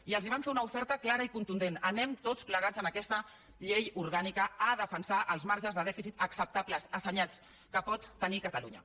i els vam fer una oferta clara i contundent anem tots plegats en aquesta llei orgànica a defensar els marges de dèficit acceptables assenyats que pot tenir catalunya